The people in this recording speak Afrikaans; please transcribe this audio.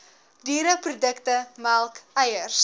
diereprodukte melk eiers